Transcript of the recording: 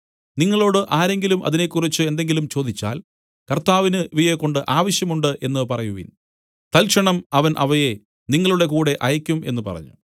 നിങ്ങളോടു ആരെങ്കിലും അതിനെക്കുറിച്ച് എന്തെങ്കിലും ചോദിച്ചാൽ കർത്താവിന് ഇവയെക്കൊണ്ട് ആവശ്യം ഉണ്ട് എന്നു പറവിൻ തൽക്ഷണം അവൻ അവയെ നിങ്ങളുടെ കൂടെ അയയ്ക്കും എന്നു പറഞ്ഞു